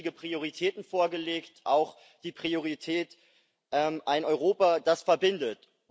Sie haben ja wichtige Prioritäten vorgelegt, auch die Priorität ein Europa, das verbindet.